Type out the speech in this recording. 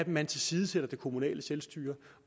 man tilsidesætter det kommunale selvstyre